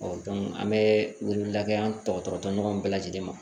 an bɛ weleweleda kɛ an dɔgɔtɔrɔ tɔw bɛɛ lajɛlen ma